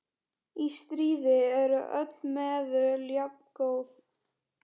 Í stríði eru öll meðul jafngóð.